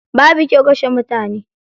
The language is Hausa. Babu kyau kashe mutane.